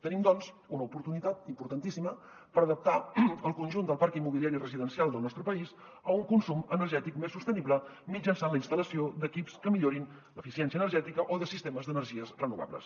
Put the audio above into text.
tenim doncs una oportunitat importantíssima per adaptar el conjunt del parc immobiliari residencial del nostre país a un consum energètic més sostenible mitjançant la instal·lació d’equips que millorin l’eficiència energètica o de sistemes d’energies renovables